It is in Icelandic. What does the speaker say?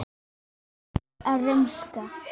Bæjarar að rumska?